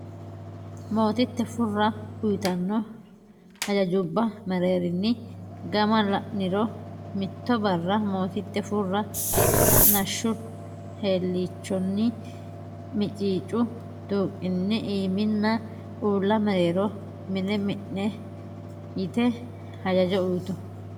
Mootitte Furra uytanno hajajjubba mereerinni gama la niro Mitto barra mootitte Furra Ha nashshu heelliichonni miciicu tuuqinni iiminna uulla mereero mine minne e yite hajajo uytu.